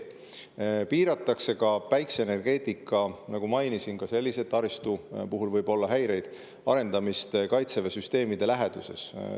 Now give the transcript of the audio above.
Piiratakse ka päikeseenergeetika – nagu ma mainisin, selle taristu puhul võib olla häireid – arendamist Kaitseväe süsteemide läheduses.